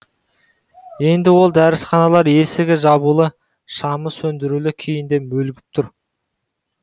енді ол дәрісханалар есігі жабулы шамы сөндірулі күйінде мүлгіп тұр